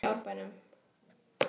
Sérðu fram á góða tíma í Árbænum?